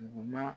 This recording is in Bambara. Duguma